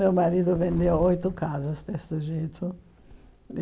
Meu marido vendeu oito casas desse jeito.